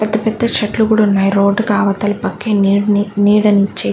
పెద్ద పెద్ద చెట్లు కూడా ఉన్నాయ్ రోడ్డు కవతల పక్క నీడని నీడనిచ్చే.